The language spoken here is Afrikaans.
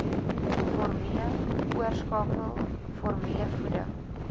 formule oorskakel formulevoeding